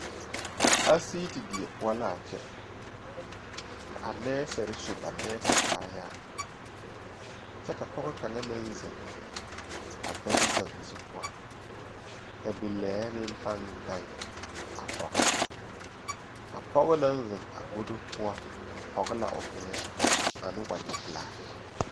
Asiiti die poɔ la a kyɛ ka a nɛɛsere su ba nɛɛse kaayaare kyɛ ka pɔge kaŋa meŋ zeŋ a gado kaŋ zu poɔ ka bilee meŋ paŋ gaŋ a koge oba pɔge naŋ zeŋ a godo poɔ pɔge la o meŋa ane wagyɛ pelaa